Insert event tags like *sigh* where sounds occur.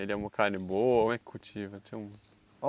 Ele é uma carne boa ou é cultiva? *unintelligible*